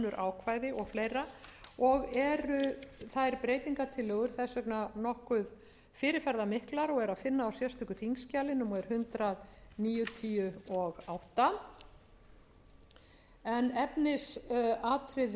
ákvæði og fleiri og eru þær breytingartillögur þess vegna nokkuð fyrirferðarmiklar og er að finna á sérstöku þingskjali númer hundrað níutíu og átta en efnisatriði máls